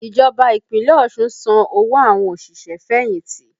Ìjọba Ìpínlẹ̀ Ọ̀ṣun ń san owó àwọn òṣìṣẹ́-fẹ̀yìnti